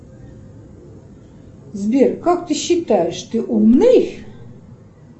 сбер как ты считаешь ты умный